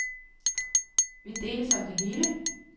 Vi deles om det hele.